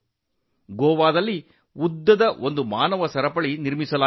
ಗೋವಾದಲ್ಲಿ ಸುದೀರ್ಘ ಮಾನವ ಸರಪಳಿ ನಿರ್ಮಿಸಲಾಯಿತು